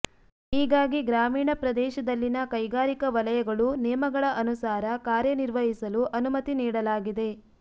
ಹೀಗಾಗಿ ಗ್ರಾಮೀಣ ಪ್ರದೇಶದಲ್ಲಿನ ಕೈಗಾರಿಕಾ ವಲಯಗಳು ನಿಯಮಗಳ ಅನುಸಾರ ಕಾರ್ಯನಿರ್ವಹಿಸಲು ಅನುಮತಿ ನೀಡಲಾಗಿದೆ